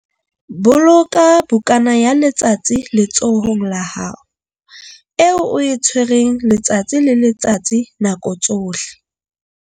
Boloka bukana ya letsatsi letsohong la hao, eo o e tshwereng letsatsi le letsatsi ka nako tsohle.